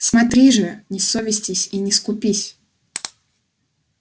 смотри же не совестись и не скупись